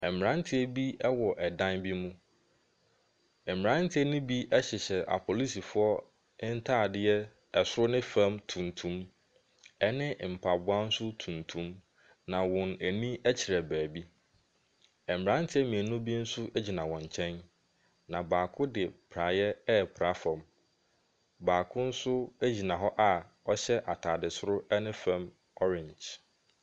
Mmtanteɛ bi wɔ ɛdan bi mu. Mmranteɛ no bi hyehyɛ aposifo ntaadeɛ soro ne fam tuntum. Ɛne mpaboa nso tuntim. Na wɔn ani kyerɛ baabi. Mmranteɛ mmienu bi nso gyina wɔn nkyɛn. Na baako de praeɛ repra fam. Baako nso agyina hɔ a ɔhyɛ ataade soro ne fam orange.